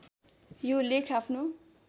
यो लेख आफ्नो